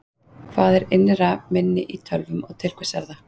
hvað er innra minni í tölvum og til hvers er það